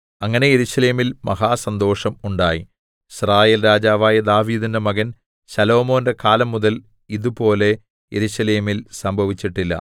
അങ്ങനെ യെരൂശലേമിൽ മഹാസന്തോഷം ഉണ്ടായി യിസ്രായേൽ രാജാവായ ദാവീദിന്റെ മകൻ ശലോമോന്റെ കാലം മുതൽ ഇതുപോലെ യെരൂശലേമിൽ സംഭവിച്ചിട്ടില്ല